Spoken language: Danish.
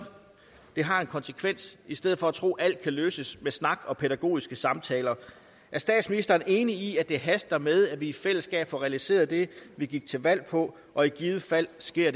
har en konsekvens i stedet for at tro at alt kan løses med snak og pædagogiske samtaler er statsministeren enig i at det haster med at vi i fællesskab får realiseret det vi gik til valg på og i givet fald sker